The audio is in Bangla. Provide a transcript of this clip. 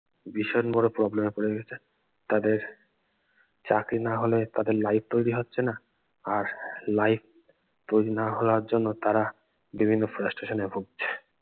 ভীষণ বড় problem এ পড়ে গেছে তাদের চাকরি না হলে তাদের life তৈরি হচ্ছে না আর life তৈরি না হওয়ার জন্য তারা বিভিন্ন frustration ভুগছে